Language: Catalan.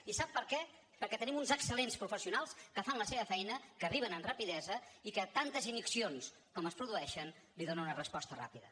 i sap per què perquè tenim uns excel·lents professionals que fan la seva feina que arriben amb rapidesa i que a tantes ignicions com es produeixen hi donen una resposta ràpida